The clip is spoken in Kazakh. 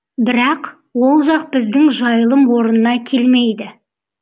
бірақ ол жақ біздің жайылым орнына келмейді